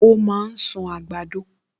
O máa ń sún àgbàdo